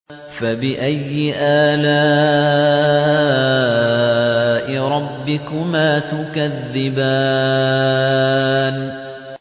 فَبِأَيِّ آلَاءِ رَبِّكُمَا تُكَذِّبَانِ